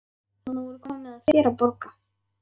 Nú er komið að þér að borga.